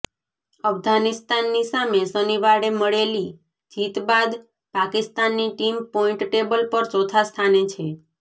અફઘાનિસ્તાનની સામે શનિવારે મળેલી જીત બાદ પાકિસ્તાનની ટીમ પોઈન્ટ ટેબલ પર ચોથા સ્થાને છે